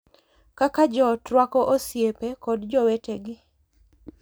Kaka joot rwako osiepe kod jowetegi